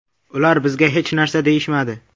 Ular bizga hech narsa deyishmadi.